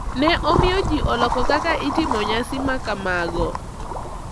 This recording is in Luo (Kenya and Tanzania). Ne omiyo ji oloko kaka itimo nyasi ma kamago.